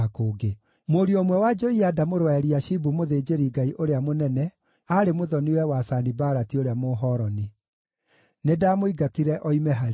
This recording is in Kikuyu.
Mũriũ ũmwe wa Joiada mũrũ wa Eliashibu mũthĩnjĩri-Ngai ũrĩa mũnene aarĩ mũthoni-we wa Sanibalati ũrĩa Mũhoroni. Nĩndamũingatire oime harĩ niĩ.